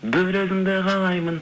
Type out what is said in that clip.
бір өзіңді қалаймын